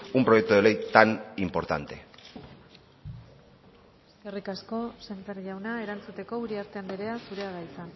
un proyecto de ley tan importante eskerrik asko sémper jauna erantzuteko uriarte andrea zurea da hitza